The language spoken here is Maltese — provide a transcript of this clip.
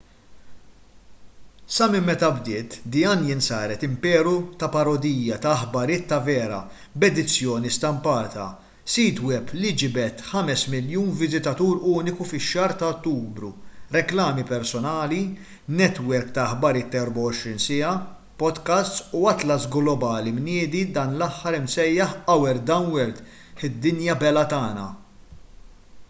sa minn meta bdiet the onion saret imperu ta’ parodija ta’ aħbarijiet ta’ vera b’edizzjoni stampata sit web li ġibed 5,000,000 viżitatur uniku fix-xahar ta’ ottubru reklami personali netwerk ta’ aħbarijiet ta’ 24 siegħa podcasts u atlas globali mniedi dan l-aħħar imsejjaħ our dumb world” id-dinja belha tagħna”